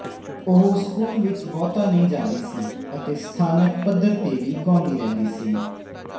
ਉਹ ਸਕੂਲ ਵਿੱਚ ਬਹੁਤਾ ਨਹੀਂ ਜਾਂਦੀ ਸੀ ਅਤੇ ਸਥਾਨਕ ਪੱਧਰ ਤੇ ਵੀ ਗਾਉਂਦੀ ਰਹਿੰਦੀੀ ਸੀ